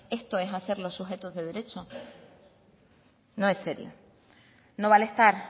esto es hacerlo sujetos de derecho no es serio no vale estar